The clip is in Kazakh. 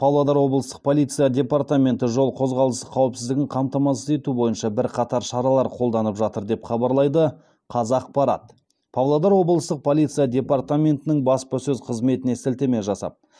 павлодар облыстық полиция департаменті жол қозғалысы қауіпсіздігін қамтамасыз ету бойынша бірқатар шаралар қолданып жатыр деп хабарлайды қазақпарат павлодар облыстық полиция департаментінің баспасөз қызметіне сілтеме жасап